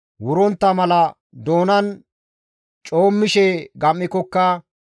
wurontta mala doonan coommishe gam7ikokka,